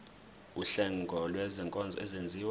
wuhlengo lwezinkonzo ezenziwa